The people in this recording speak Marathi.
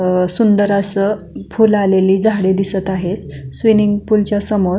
अ सुंदर असं फूल आलेली झाड दिसत आहेत स्विमिन्ग पुलच्या समोर.